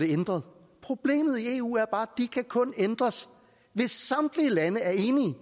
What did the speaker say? ændret problemet i eu er bare at de kan kun ændres hvis samtlige lande er enige